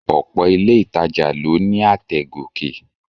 Ọ̀pọ̀ ilé ìtajà ló ní àtẹ̀ gòkè